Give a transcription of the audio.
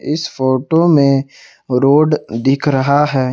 इस फोटो में रोड दिख रहा है।